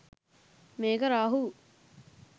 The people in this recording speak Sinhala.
මේක රාහූ